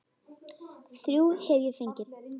Þrjú hef ég fengið.